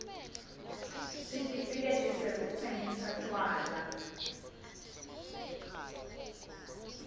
sitifiketi sekutsingisa tjwala